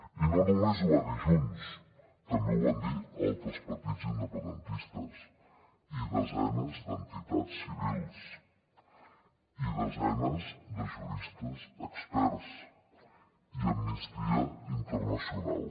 i no només ho va dir junts també ho van dir altres partits independentistes i desenes d’entitats civils i desenes de juristes experts i amnistia internacional